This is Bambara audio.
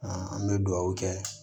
an bɛ dugawu kɛ